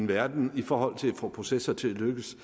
verden for at få processer til at lykkes